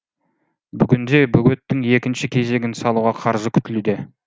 бүгінде бөгеттің екінші кезегін салуға қаржы күтілуде